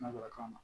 Nanzarakan na